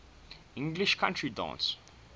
english country dance